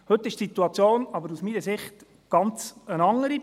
Heute ist die Situation aber aus meiner Sicht eine ganz andere.